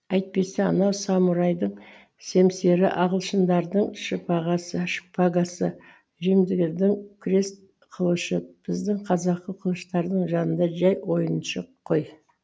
әйтпесе анау самурайдың семсері ағылшындардың шпагасы римдіктердің крест қылышы біздің қазақы қылыштардың жанында жәй ойыншық ғой